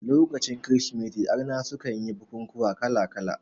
Lokacin kirismeti arna sukan yi bukukuwa kala kala